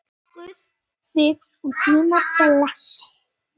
Guð þig og þína blessi.